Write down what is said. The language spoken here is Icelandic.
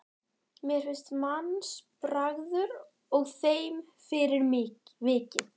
Mér finnst mannsbragur að þeim fyrir vikið.